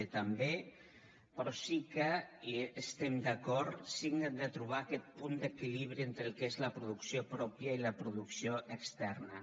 d també però sí que hi estem d’acord hem de trobar aquest punt d’equilibri entre el que és la producció pròpia i la producció externa